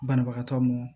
Banabagatɔ mɔn